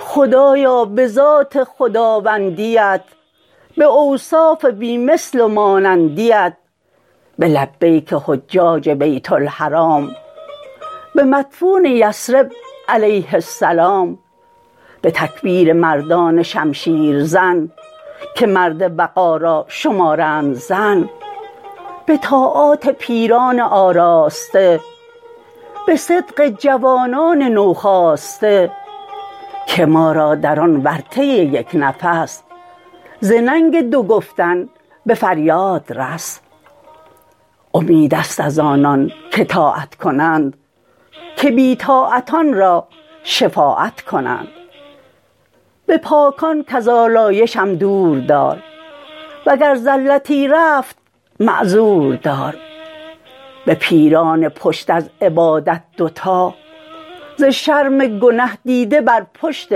خدایا به ذات خداوندیت به اوصاف بی مثل و مانندیت به لبیک حجاج بیت الحرام به مدفون یثرب علیه السلام به تکبیر مردان شمشیر زن که مرد وغا را شمارند زن به طاعات پیران آراسته به صدق جوانان نوخاسته که ما را در آن ورطه یک نفس ز ننگ دو گفتن به فریاد رس امید است از آنان که طاعت کنند که بی طاعتان را شفاعت کنند به پاکان کز آلایشم دور دار وگر زلتی رفت معذور دار به پیران پشت از عبادت دوتا ز شرم گنه دیده بر پشت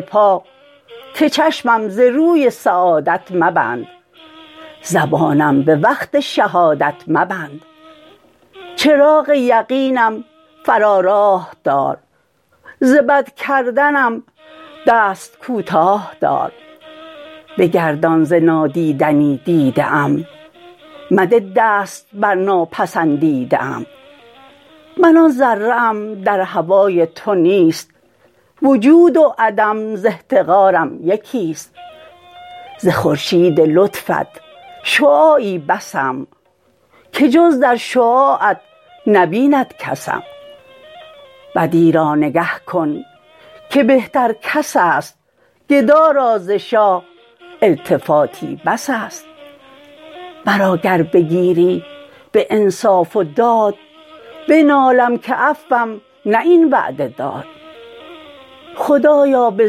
پا که چشمم ز روی سعادت مبند زبانم به وقت شهادت مبند چراغ یقینم فرا راه دار ز بد کردنم دست کوتاه دار بگردان ز نادیدنی دیده ام مده دست بر ناپسندیده ام من آن ذره ام در هوای تو نیست وجود و عدم ز احتقارم یکی است ز خورشید لطفت شعاعی بسم که جز در شعاعت نبیند کسم بدی را نگه کن که بهتر کس است گدا را ز شاه التفاتی بس است مرا گر بگیری به انصاف و داد بنالم که عفوم نه این وعده داد خدایا به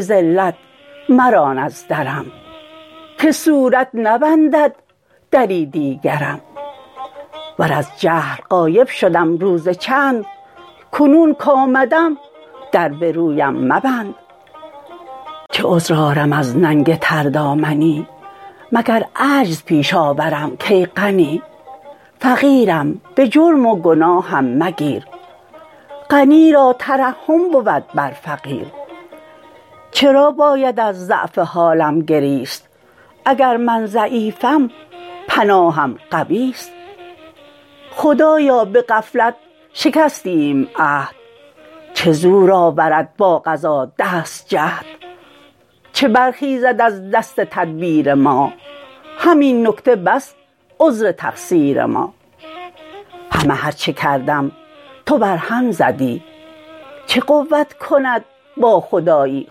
ذلت مران از درم که صورت نبندد دری دیگرم ور از جهل غایب شدم روز چند کنون کآمدم در به رویم مبند چه عذر آرم از ننگ تردامنی مگر عجز پیش آورم کای غنی فقیرم به جرم و گناهم مگیر غنی را ترحم بود بر فقیر چرا باید از ضعف حالم گریست اگر من ضعیفم پناهم قویست خدایا به غفلت شکستیم عهد چه زور آورد با قضا دست جهد چه برخیزد از دست تدبیر ما همین نکته بس عذر تقصیر ما همه هر چه کردم تو بر هم زدی چه قوت کند با خدایی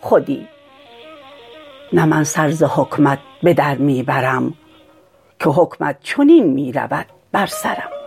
خودی نه من سر ز حکمت به در می برم که حکمت چنین می رود بر سرم